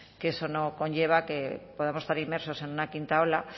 que eso no conlleva que podamos estar inmersos en una quinta ola